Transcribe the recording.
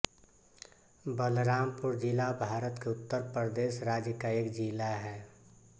बलरामपुर ज़िला भारत के उत्तर प्रदेश राज्य का एक ज़िला है